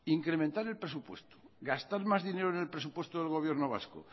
incrementar el presupuesto gastar más dinero en el presupuesto del gobierno vasco